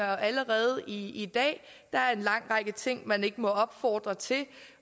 allerede i dag der er en lang række ting man ikke må opfordre til